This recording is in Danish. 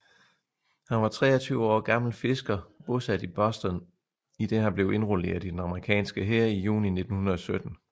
Han var 23 år gammel fisker bosat i Boston idet han blev indrulleret i den amerikanske hær i juni 1917